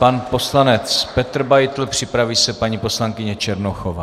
Pan poslanec Petr Beitl, připraví se paní poslankyně Černochová.